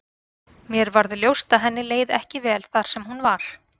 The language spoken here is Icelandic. Mér varð ljóst að henni leið ekki vel þar sem hún var.